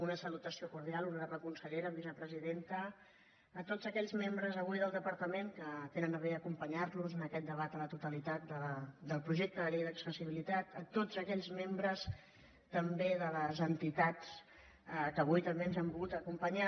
una salutació cordial honorable consellera vicepresidenta tots aquells membres avui del departament que tenen a bé d’acompanyar nos en aquest debat a la totalitat del projecte de llei d’accessibilitat tots aquells membres també de les entitats que avui també ens han volgut acompanyar